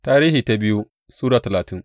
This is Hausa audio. biyu Tarihi Sura talatin